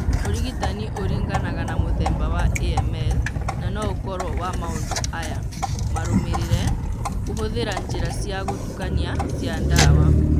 Ũrigitani ũringanaga na mũthemba wa AML na no ũkorũo wa maũndu aya marũmĩrĩre :kũhũthĩra njĩra cia gũtukania cia ndawa.